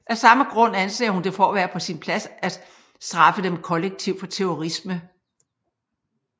Af samme grund anser hun det for at være på sin plads at straffe dem kollektivt for terrorisme